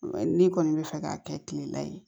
N'i kɔni bɛ fɛ k'a kɛ kilela ye